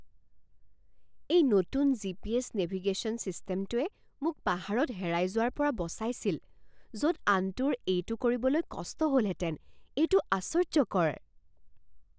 এই নতুন GPS navigation ছিষ্টেমটোৱে মোক পাহাৰত হেৰাই যোৱাৰ পৰা বচাইছিল য'ত আনটোৰ এইটো কৰিবলৈ কষ্ট হ'লহেতেন। এইটো আশ্চৰ্য্যকৰ!